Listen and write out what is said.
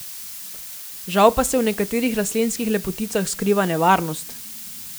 Žal pa se v nekaterih rastlinskih lepoticah skriva nevarnost.